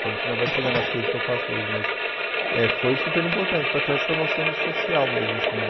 Que a gente ainda vai chegar nas coisas que eu faço hoje, mas eh foi super importante para ter essa noção do social mesmo, assim.